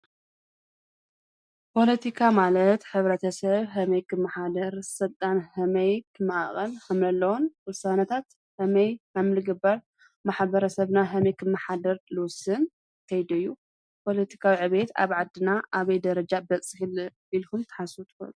ፓለቲካ ማለት ሕብረተሰብ ከመይ ከምዝመሓደር፣ ከመይ ስርዓት ከም ዝምራሕን ካልኦትን የጠቃልል።